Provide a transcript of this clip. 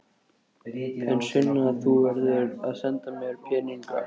En Sunna, þú verður að senda mér peninga.